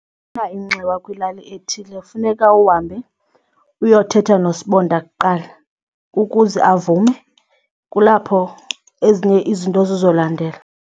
Xa ufuna inxiwa kwilali ethile funeka uhambe uyothetha nosibonda kuqala ukuze avume, kulapho ezinye izinto zizolandela.